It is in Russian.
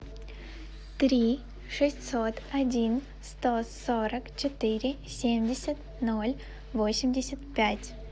три шестьсот один сто сорок четыре семьдесят ноль восемьдесят пять